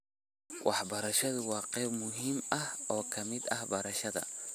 Waxbarashadu waa qayb muhiim ah oo ka mid ah beerashada.